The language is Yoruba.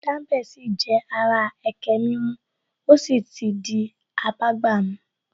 Dambe sì jẹ́ ara ẹkẹ mímu ó sì ti abágbàmu